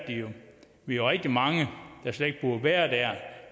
vi jo rigtig mange der slet ikke burde være